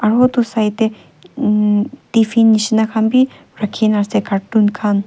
aru etu side te umm tiffin nisna khan bhi rakhi kina ase cartoon khan.